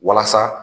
Walasa